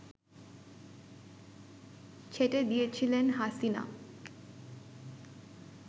ছেঁটে দিয়েছিলেন হাসিনা